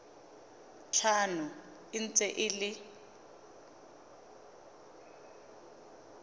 tlhano e ntse e le